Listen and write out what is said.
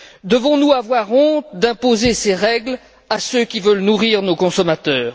Devons nous avoir honte d'imposer ces règles à ceux qui veulent nourrir nos consommateurs?